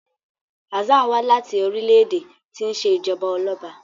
Hassan wá láti orílẹ̀-èdè tí ṣe Ijọba Ọlọba